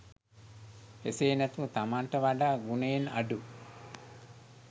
එසේ නැතුව තමනට වඩා ගුණයෙන් අඩු